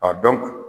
A dɔn